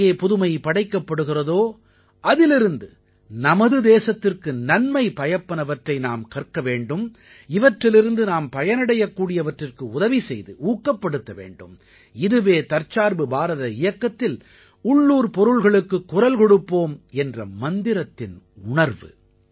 எங்கே புதுமை படைக்கப்படுகிறதோ அதிலிருந்து நமது தேசத்திற்கு நன்மை பயப்பனவற்றை நாம் கற்க வேண்டும் இவற்றிலிருந்து நாம் பயனடையக் கூடியவற்றிற்கு உதவி செய்து ஊக்கப்படுத்த வேண்டும் இதுவே தற்சார்பு பாரத இயக்கத்தில் உள்ளூர் பொருள்களுக்குக் குரல் கொடுப்போம் என்ற மந்திரத்தின் உணர்வு